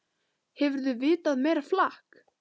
Hefurðu vitað meira flak!